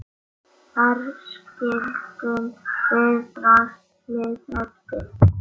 Þar skildum við draslið eftir.